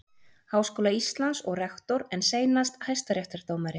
Háskóla Íslands og rektor en seinast hæstaréttardómari.